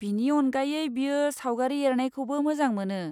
बिनि अनगायै, बियो सावगारि एरनायखौबो मोजां मोनो।